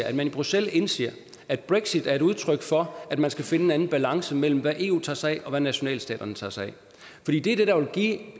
at man i bruxelles indser at brexit er et udtryk for at man skal finde en anden balance mellem hvad eu tager sig af og hvad nationalstaterne tager sig af fordi det der vil give